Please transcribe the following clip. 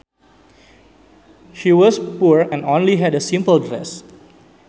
She was poor and only had a simple dress